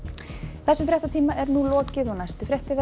þessum fréttatíma er lokið næstu fréttir verða